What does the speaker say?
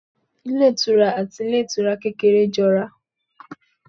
Ilé ìtura àti ilé ìtura kékeré jọ ra